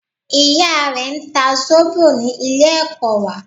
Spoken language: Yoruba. Ìya rẹ n ta Zóbò ní Ilé ẹ̀kọ́ wà